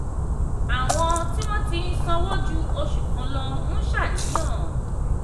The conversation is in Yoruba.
àwọn tí wọ́n ti sanwó ju oṣù kan lọ ń ṣàníyàn.